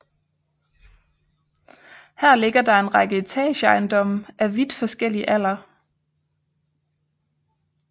Her ligger der en række etageejendomme af vidt forskellig alder